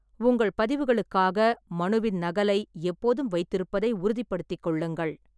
உங்கள் பதிவுகளுக்காக மனுவின் நகலை எப்போதும் வைத்திருப்பதை உறுதிப்படுத்திக் கொள்ளுங்கள்.